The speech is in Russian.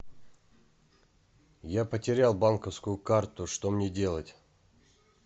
я потерял банковскую карту что мне делать